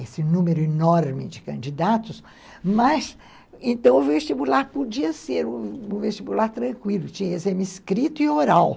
esse número enorme de candidatos, mas então o vestibular podia ser um vestibular tranquilo, tinha exame escrito e oral.